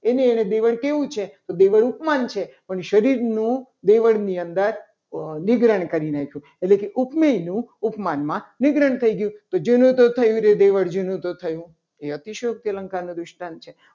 એને એનું દેવળ કેવું છે. તો દેવળ ઉપમાન છે. પણ શરીરનું દેવળ ની અંદર ની ગ્રહણ કરીને એટલે કે ઉપમેયનું ઉપમાનમાં નિગ્રહ થઈ ગયું. તો જૂનું તો થયું. રે દેવળ જૂનું તો થયું. એ અતિશયોક્તિ અલંકારનો દૃષ્ટાંત છે.